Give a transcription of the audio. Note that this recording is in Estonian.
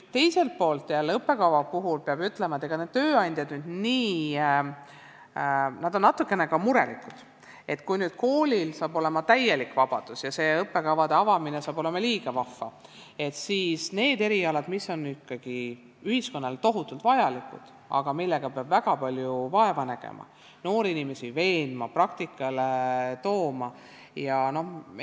Teiselt poolt peab õppekavast rääkides ütlema, et tööandjad on natukene ka murelikud, et kui koolil hakkab olema täielik vabadus ja õppekavade avamine muutub liiga vahvaks, siis mis saab nendest erialadest, mis on ühiskonnale tohutult vajalikud, aga millega peab väga palju vaeva nägema ning noori inimesi peab veenma neid erialasid õppima, neid praktikale tooma.